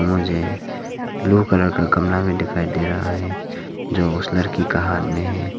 मुझे blue colour का गमला में दिखाई दे रहा है जो उस लड़की का हाथ में है।